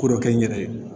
Ko dɔ kɛ n yɛrɛ ye